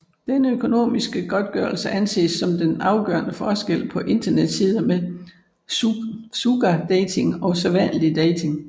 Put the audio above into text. Den økonomiske godtgørelse anses som den afgørende forskel på internetsider med sugardating og sædvanlig dating